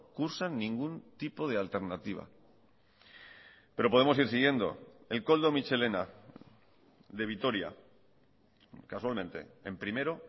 cursan ningún tipo de alternativa pero podemos ir siguiendo el koldo mitxelena de vitoria casualmente en primero